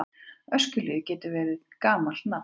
Öskjuhlíð getur verið gamalt nafn.